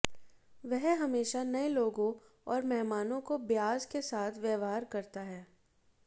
वह हमेशा नए लोगों और मेहमानों को ब्याज के साथ व्यवहार करता है